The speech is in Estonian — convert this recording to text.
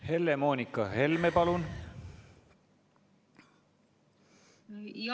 Helle-Moonika Helme, palun!